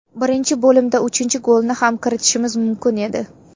Birinchi bo‘limda uchinchi golni ham kiritishimiz mumkin edi.